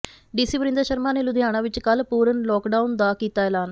DC Varinder Sharma ਨੇ ਲੁਧਿਆਣਾ ਵਿੱਚ ਕੱਲ੍ਹ ਪੂਰਨ ਲੋਕਡਾਊਨ ਦਾ ਕੀਤਾ ਐਲਾਨ